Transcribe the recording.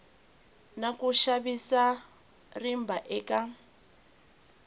na ku xavisa rimba eka